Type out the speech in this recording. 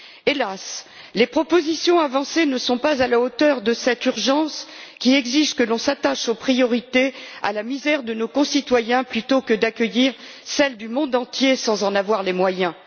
Hélas, les propositions avancées ne sont pas à la hauteur de cette urgence, qui exige que l'on s'attache aux priorités et à la misère de nos concitoyens, plutôt que d'accueillir celle du monde entier sans en avoir les moyens.